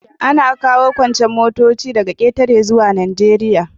Ana kawo kuncen motoci daga ƙetare zuwa Najeriya.